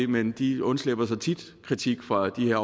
men de undslipper så tit kritik fra de her